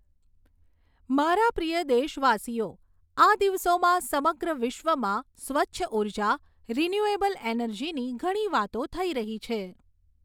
મારા પ્રિય દેશવાસીઓ, આ દિવસોમાં સમગ્ર વિશ્વમાં સ્વચ્છ ઊર્જા, રિન્યૂએબલ એનર્જીની ઘણી વાતો થઈ રહી છે.